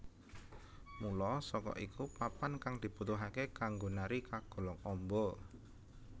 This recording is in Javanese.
Mula saka iku papan kang dibutuhake kanggo nari kagolong amba